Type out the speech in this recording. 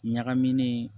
Ɲagaminen